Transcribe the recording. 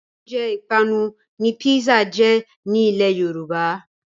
Oúnjẹ ìpápánu ni písà jẹ́ ní ilẹ́ Yorùbá.